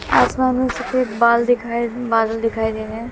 आसमान में सफेद बाल दिखाई बादल दिखाई दे रहे हैं।